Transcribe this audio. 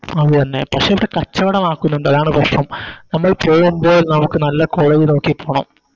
അതെന്നെ പക്ഷെ ഇത് കച്ചവടമാക്കുന്നുണ്ട് അതാണ് പ്രശ്നം നമ്മൾ ചെയുമ്പോൾ നമുക്ക് നല്ല College നോക്കി പോണം